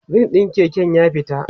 rim ɗin Keke na ya fita